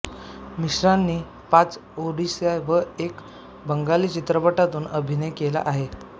मिश्रांनी पाच ओडिया व एक बंगाली चित्रपटांतून अभिनय केला आहे